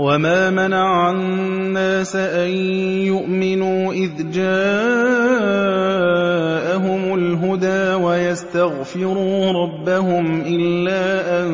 وَمَا مَنَعَ النَّاسَ أَن يُؤْمِنُوا إِذْ جَاءَهُمُ الْهُدَىٰ وَيَسْتَغْفِرُوا رَبَّهُمْ إِلَّا أَن